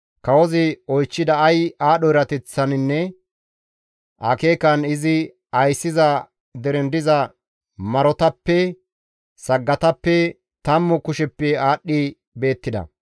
Kawozi oychchida ay aadho erateththaninne akeekan izi ayssiza deren diza marotappe, saggatappe, tammu kusheppe aadhdhi beettida.